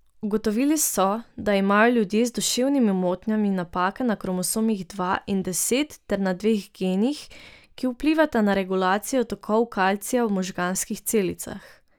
Ugotovili so, da imajo ljudje z duševnimi motnjami napake na kromosomih dva in deset ter na dveh genih, ki vplivata na regulacijo tokov kalcija v možganskih celicah.